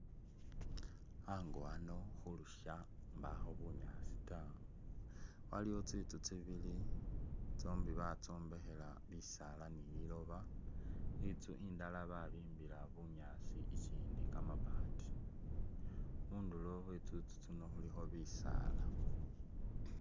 Ango ano khulusha mbakho bunyaasi taa aliwo tsitsu tsibili tsombi batsombekhela bisala ni liloba, itsu indala babimbila bunyaasi ikyindi kamabati ,khunduro khwe tsitsu tsino khulikho bisala.